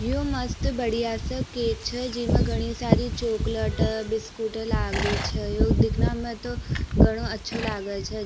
यो मस्त बढ़िया साे केक छे जिमे घनी सारी चॉकलेट बिस्कुट लाग रही छे दिखने में तो घणो अच्छो लागे छे।